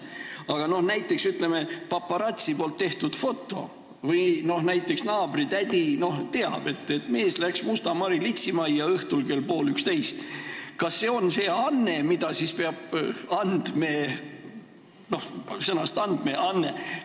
Aga kas näiteks paparatso tehtud foto või see, kui naabritädi teab, et mees läks Musta Mari litsimajja õhtul kell pool 11, läheb ka andmekaitse alla?